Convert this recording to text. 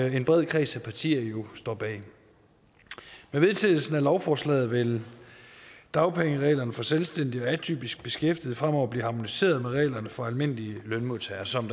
en bred kreds af partier jo står bag med vedtagelsen af lovforslaget vil dagpengereglerne for selvstændige og atypisk beskæftigede fremover blive harmoniseret med reglerne for almindelige lønmodtagere som